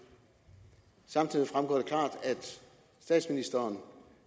samtidig fremgår at statsministeren